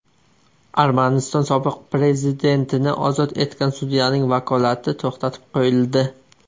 Armaniston sobiq prezidentini ozod etgan sudyaning vakolati to‘xtatib qo‘yildi.